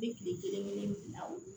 Ni kile kelen bila o